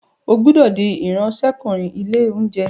O gbódò dì Ìráńṣẹ́kùnrin ilé-oúnjẹ!